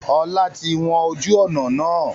Ọlá tí wọn ojú ọnà náà.